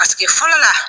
Paseke fɔlɔ la